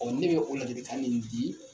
ne bɛ o ladilikan minnu di